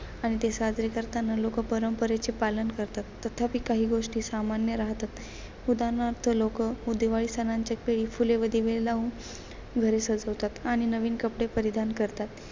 आणि ते साजरे करताना लोक परंपरेचे पालन करतात. तथापि, काही गोष्टी सामान्य राहतात. उदाहरणार्थ, लोक दिवाळी सणांच्या वेळी फुले व दिवे देऊन घरे सजवतात. आणि नवीन कपडे परिधान करतात.